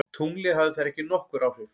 Tunglið hafði þar ekki nokkur áhrif.